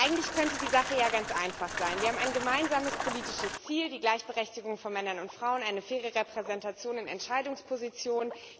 Eigentlich könnte die Sache ja ganz einfach sein. Wir haben ein gemeinsames politisches Ziel, die Gleichberechtigung von Männern und Frauen, eine faire Repräsentationen in Entscheidungspositionen.